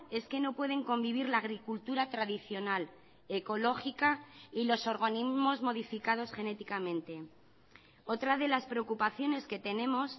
es que no pueden convivir la agricultura tradicional ecológica y los organismos modificados genéticamente otra de las preocupaciones que tenemos